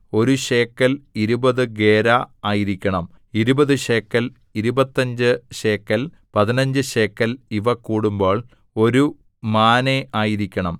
ഒരു ശേക്കെൽ ഇരുപതു ഗേരാ ആയിരിക്കണം ഇരുപത് ശേക്കെൽ ഇരുപത്തഞ്ച് ശേക്കെൽ പതിനഞ്ച് ശേക്കെൽ ഇവ കൂടുമ്പോൾ ഒരു മാനേ ആയിരിക്കണം